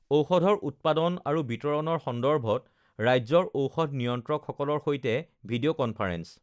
ঔষধৰ উৎপাদন আৰু বিতৰণৰ সন্দৰ্ভত ৰাজ্যৰ ঔষধ নিয়্ন্ত্ৰকসকলৰ সৈতে ভিডিঅ কনফাৰেন্স